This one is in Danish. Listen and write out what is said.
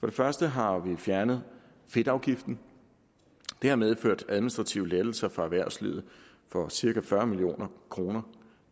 det første har vi fjernet fedtafgiften det har medført administrative lettelser for erhvervslivet for cirka fyrre million kroner